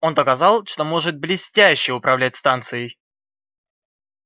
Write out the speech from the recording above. он доказал что может блестяще управлять станцией